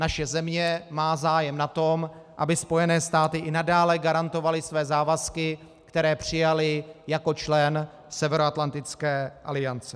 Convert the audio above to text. Naše země má zájem na tom, aby Spojené státy i nadále garantovaly své závazky, které přijaly jako člen Severoatlantické aliance.